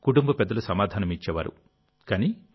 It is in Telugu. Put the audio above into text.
అని కుటుంబ పెద్దలు సమాధానమిచ్చేవారు